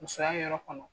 Musoya yɔrɔ kɔnɔ